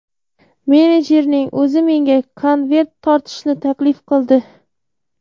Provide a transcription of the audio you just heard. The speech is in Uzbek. Menejerning o‘zi menga konvert tortishni taklif qildi.